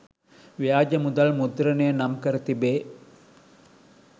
ව්‍යාජ මුදල් මුද්‍රණය නම්කර තිබේ.